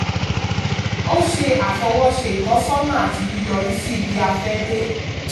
ó ṣe àfọwọ́ṣe ìtọ́sọ́nà àti yíyọrísí ibi-a fẹ́ dé.